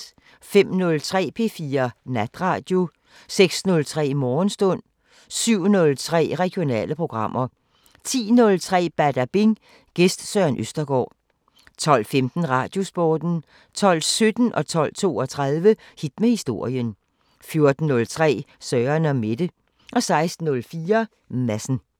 05:03: P4 Natradio 06:03: Morgenstund 07:03: Regionale programmer 10:03: Badabing: Gæst Søren Østergaard 12:15: Radiosporten 12:17: Hit med historien 12:32: Hit med historien 14:03: Søren & Mette 16:04: Madsen